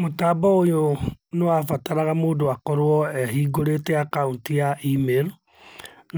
Mũtambo ũyũ nĩwabataraga mũndũ akorwo ehingũrĩte akaunti ya emirũ,